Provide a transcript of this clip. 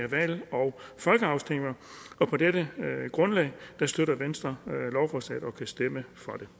valg og folkeafstemninger på dette grundlag støtter venstre lovforslaget og kan stemme